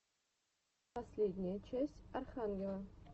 последняя часть архангела